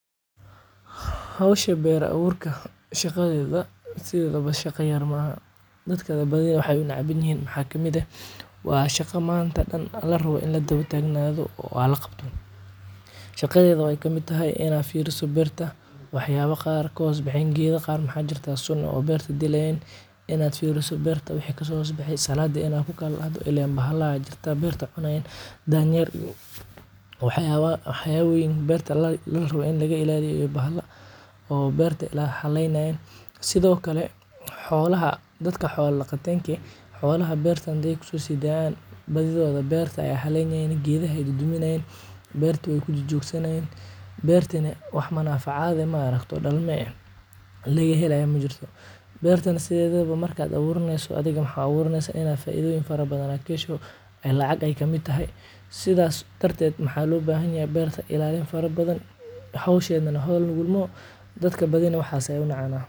Hosha beer aburka shaqadeda sidhedawa shaqa yar maaha dadka badhi waxee u necban yihin maxaa waye waa shaqa manta dan ranto in la dawa tagnadho oo laqabto shaq deda maxee kamiid tahay in ee berta wax yala kahosbaxen waxyala qar oo maxaa jira geedha dilan in aa firiso beerta waxaa kaso hos baxe salada in aa ku kalahdo lin bahala beerta cunayin aya kirta danyer iyo waxyaba weyn oo beerta larawo in an ilaliyo bahala oo berta haleynayin sithokale xolaha dadka xola daqatenke eh xolaha beerta ayey kuso sidaya badidhod beerta ayey haleynayin geedaha ayey duduminayin berta wey kujajogsanayin beertina wax manan facada maaragte oo dalma eh laga helayo majirto bertana sithidawo marka aburaneyso adhiga mxaa u aburaneysa in aa faidho badan aa kahesho ee lacag kamiid tahay sidas darteed maxaa lo bahan yahay berta ilalin fara badan hosheda hol fudud maaha dadka badina waxas ayay unacana.